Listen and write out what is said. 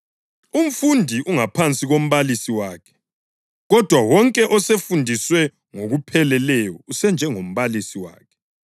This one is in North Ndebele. Umfundi ungaphansi kombalisi wakhe, kodwa wonke osefundiswe ngokupheleleyo usenjengombalisi wakhe.